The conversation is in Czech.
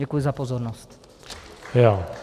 Děkuji za pozornost.